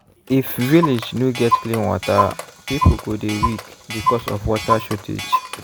if village no get clean water people go dey weak because of water shortage.